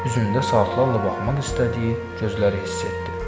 Üzündə saatlarla baxmaq istədiyi gözləri hiss etdi.